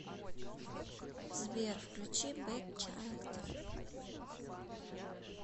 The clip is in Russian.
сбер включи бэд чайлд